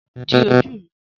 Di ojú rẹ́